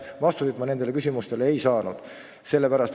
Vastuseid ma nendele küsimustele ei saanud.